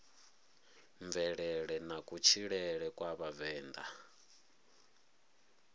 mvelele na kutshilele kwa vhavenḓa